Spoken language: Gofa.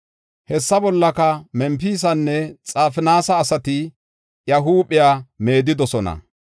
Hesaa bollaka Mempisanne Xafinaasa asati iya huuphiya meedidosona.